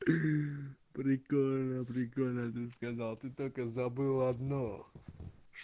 прикольно прикольно же сказал ты только забыла одно